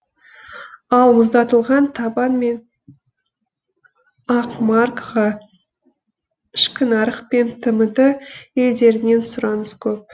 ал мұздатылған табан мен ақмарқаға ішкі нарық пен тмд елдерінен сұраныс көп